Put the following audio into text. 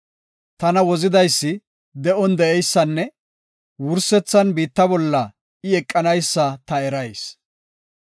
Tana Wozidaysi de7on de7eysanne wursethan biitta bolla I eqanaysa ta erayis.